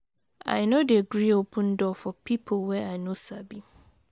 I no dey gree open door for pipo wey I no sabi.